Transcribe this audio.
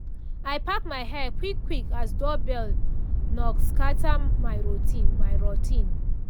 i pack my hair back quick quick as doorbell knock scatter my routine. my routine.